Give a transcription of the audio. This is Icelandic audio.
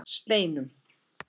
Steinum